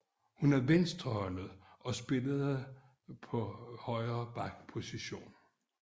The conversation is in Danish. Hun er venstrehåndet og spillede på højre back position